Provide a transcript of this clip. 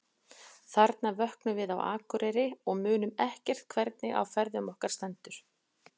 Þarna vöknum við á Akureyri og munum ekki hvernig á ferðum okkar stendur.